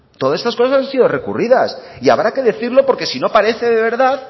todas estas cosas han sido recurridas y habrá que decirlo porque si no parece de verdad